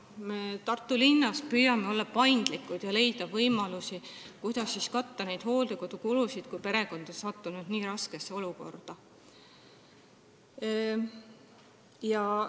Me püüame Tartu linnas olla paindlikud ja leida võimalusi, kuidas katta hooldekodukulusid, kui perekond on nii raskesse olukorda sattunud.